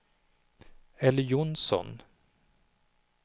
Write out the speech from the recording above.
Elly Jonsson